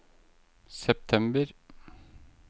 september